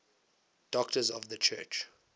doctors of the church